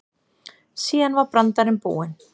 Síðan var brandarinn búinn.